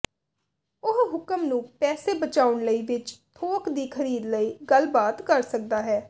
ਉਹ ਹੁਕਮ ਨੂੰ ਪੈਸੇ ਬਚਾਉਣ ਲਈ ਵਿੱਚ ਥੋਕ ਦੀ ਖਰੀਦ ਲਈ ਗੱਲਬਾਤ ਕਰ ਸਕਦਾ ਹੈ